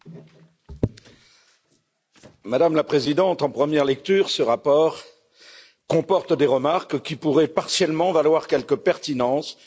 Madame la Présidente, en première lecture, ce rapport comporte des remarques qui pourraient partiellement avoir quelque pertinence, notamment dans le domaine de l'agriculture.